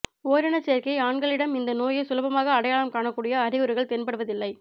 ஓரினச் சேர்க்கை ஆண்களிடம் இந்த நோயை சுலபமாக அடையாளம் காணக்கூடிய அறிகுறிகள் தென்படுவதில்லை